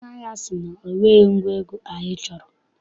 Onye ahịa sị na o nweghị ngwa egwu anyị chọrọ.